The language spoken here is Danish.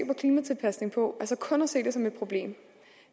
klimatilpasning på altså kun at se det som et problem